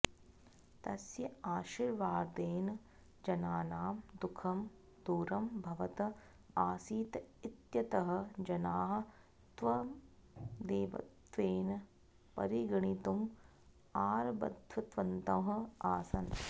तस्य आशीर्वादेन जनानां दुःखं दूरं भवत् आसीत् इत्यतः जनाः तं देवत्वेन परिगणितुम् आरब्धवन्तः आसन्